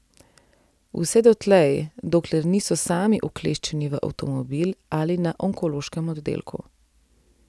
Vse dotlej, dokler niso sami ukleščeni v avtomobil ali na onkološkem oddelku.